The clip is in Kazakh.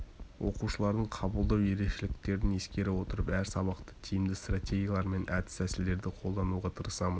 оқушылардың қабылдау ерекшеліктерін ескере отырып әр сабақта тиімді стратегиялар мен әдіс-тәсілдерді қолдануға тырысамын